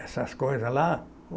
essas coisas lá.